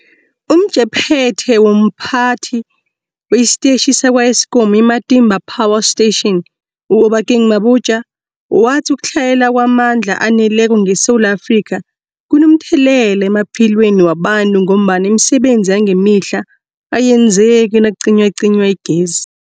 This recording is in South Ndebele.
UmJaphethe womPhathi wesiTetjhi sakwa-Eskom i-Matimba Power Station u-Obakeng Mabotja wathi ukutlhayela kwamandla aneleko ngeSewula Afrika kunomthelela emaphilweni wabantu ngombana imisebenzi yangemihla ayenzeki nakucinywacinywa igezi.